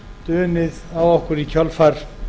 dunið á okkur í kjölfar